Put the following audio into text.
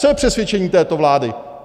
Co je přesvědčení této vlády?